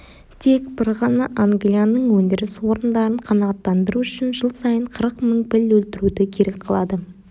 тек бір ғана англияның өндіріс орындарын қанағаттандыру үшін жыл сайын қырық мың піл өлтіруді керек қылады